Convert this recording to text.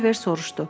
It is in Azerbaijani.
Oliver soruşdu: